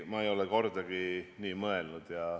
Ei, ma ei ole kordagi nii mõelnud.